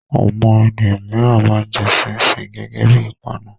Àwọn ènìyàn mìíràn máa ń jẹ ṣíín-ṣiìn gẹ́gẹ́ bí i ìpanu.